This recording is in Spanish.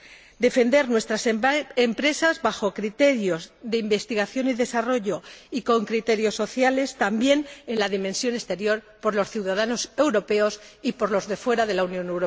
Hemos de defender nuestras empresas a la luz de criterios de investigación y desarrollo y de criterios sociales, también en la dimensión exterior, por los ciudadanos europeos y por los de fuera de la Unión Europea.